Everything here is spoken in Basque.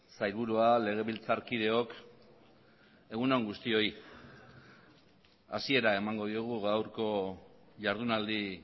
sailburua legebiltzarkideok egun on guztioi hasiera emango diogu gaurko jardunaldi